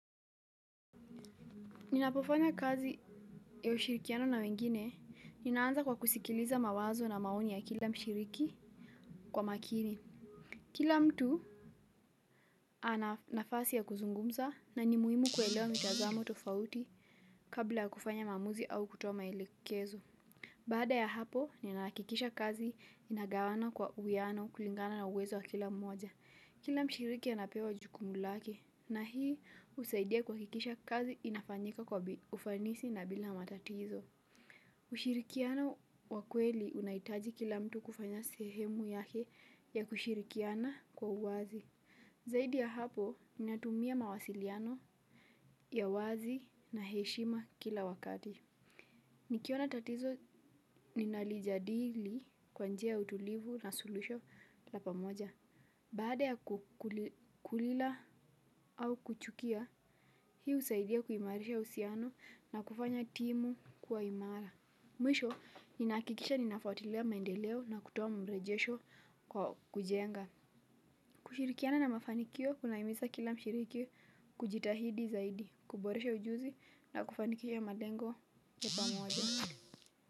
Ninapofanya kazi ya ushirikiano na wengine, ninaanza kwa kusikiliza mawazo na maoni ya kila mshiriki kwa makini. Kila mtu ana nafasi ya kuzungumza na ni muhimu kuelewa mitazamo tofauti kabla kufanya maamuzi au kutoa maelekezo. Bada ya hapo, nina hakikisha kazi inagawana kwa uwiano kulingana na uwezo wa kila mmoja. Kila mshiriki anapewa jukumu lake na hii husaidia kuhakikisha kazi inafanyika kwa ufanisi na bila matatizo. Ushirikiano wa kweli unahitaji kila mtu kufanya sehemu yake ya kushirikiana kwa uwazi. Zaidi ya hapo ninatumia mawasiliano ya wazi na heshima kila wakati. Nikiona tatizo ninalijadili kwa njia ya utulivu na suluhisho la pamoja. Baada ya kukulila au kuchukia, hii husaidia kuimarisha uhusiano na kufanya timu kuwa imara. Mwisho, nina hakikisha ninafautilia maendeleo na kutoa mrejesho kwa kujenga. Kushirikiana na mafanikio, kunaimiza kila mshiriki kujitahidi zaidi, kuboresha ujuzi na kufanikisha malengo ya pamoja.